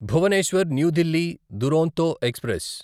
Bhubaneswar new Delhi Duronto express